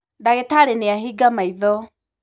ndagītarī nīahinga maitho.